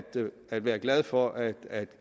at være glad for at